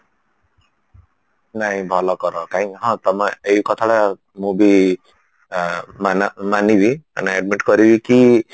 ନାଇଁ ଭଲ କର କାଇଁକି ହଁ ତମେ ଏଇ କଥାଟା ତମେ ମୁଁ ବି ମାନେ ମାନିବି ମାନେ habit କରିବିକି